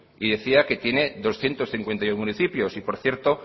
y decía que tiene doscientos cincuenta y uno municipios y por cierto